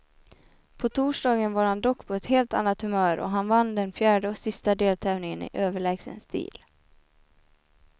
På torsdagen var han dock på ett helt annat humör och han vann den fjärde och sista deltävlingen i överlägsen stil.